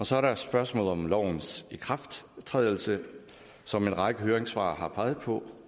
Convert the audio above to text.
så er der spørgsmålet om lovens ikrafttrædelse som en række høringssvar har peget på